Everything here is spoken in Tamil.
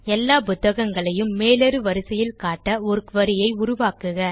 எல்லா புத்தகங்களையும் மேலேறு வரிசையில் காட்ட ஒரு குரி ஐ உருவாக்குக